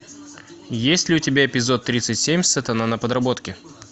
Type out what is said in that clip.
есть ли у тебя эпизод тридцать семь сатана на подработке